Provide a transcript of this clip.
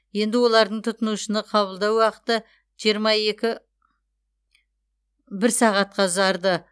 енді олардың тұтынушыны қабылдау уақыты жиырма екі бір сағатқа ұзарды